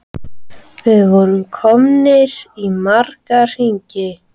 Við vorum komnir í marga hringi.